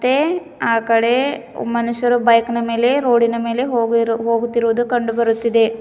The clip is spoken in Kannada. ತ್ತೆ ಆಕಡೆ ಮನುಷ್ಯರು ಬೈಕ್ ನಾ ಮೇಲೆ ರೋಡಿನ ಮೇಲೆ ಹೋಗಿರೋ ಹೋಗುತ್ತಿರುವುದು ಕಂಡು ಬರುತ್ತಿದೆ.